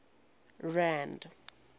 rand